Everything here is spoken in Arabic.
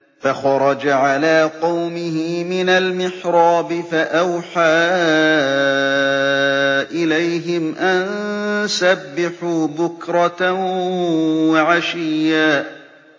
فَخَرَجَ عَلَىٰ قَوْمِهِ مِنَ الْمِحْرَابِ فَأَوْحَىٰ إِلَيْهِمْ أَن سَبِّحُوا بُكْرَةً وَعَشِيًّا